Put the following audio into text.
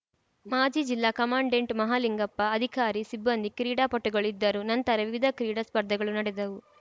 ಮಾಜಿ ಜಿಲ್ಲಾ ಕಮಾಂಡೆಂಟ್‌ ಮಹಲಿಂಗಪ್ಪ ಅಧಿಕಾರಿ ಸಿಬ್ಬಂದಿ ಕ್ರೀಡಾಪಟುಗಳು ಇದ್ದರು ನಂತರ ವಿವಿಧ ಕ್ರೀಡಾ ಸ್ಪರ್ಧೆಗಳು ನಡೆದವು